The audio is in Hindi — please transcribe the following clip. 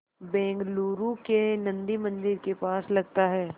बेंगलूरू के नन्दी मंदिर के पास लगता है